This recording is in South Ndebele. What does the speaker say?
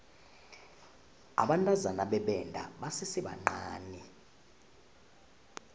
abantazana bebenda basesebancani